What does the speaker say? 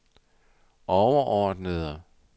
overordnede